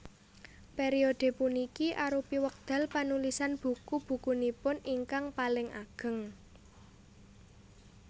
Periode puniki arupi wekdal panulisan buku bukunipun ingkang paling ageng